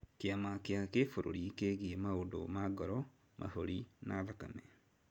Kĩama kĩa kĩbũrũri kĩgie maũndũ ma ngoro, mahũri na thakame.